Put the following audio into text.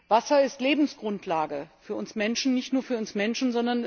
Wasser ist Lebensgrundlage für uns Menschen, aber nicht nur für uns Menschen.